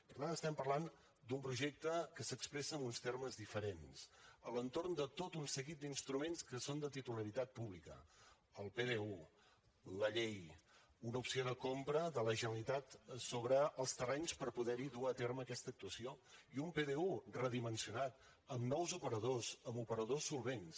per tant estem parlant d’un projecte que s’expressa en uns termes diferents a l’entorn de tot un seguit d’instruments que són de titularitat pública el pdu la llei una opció de compra de la generalitat sobre els terrenys per poder hi dur a terme aquesta actuació i un pdu redimensionat amb nous operadors amb operadors solvents